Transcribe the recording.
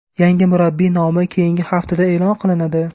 Yangi murabbiy nomi keyingi haftada e’lon qilinadi.